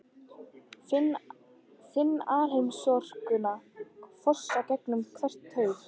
Finn alheimsorkuna fossa gegnum hverja taug.